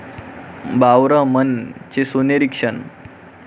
बावरा मन'चे सोनेरी क्षण